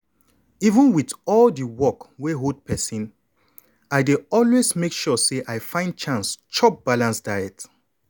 even with all di work wey hold persin i dey always make sure say i find chance chop balanced food.